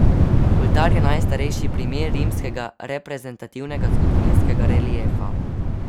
Oltar je najstarejši primer rimskega reprezentativnega zgodovinskega reliefa.